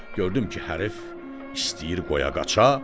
Gördüm ki, hərfi istəyir qoya qaça.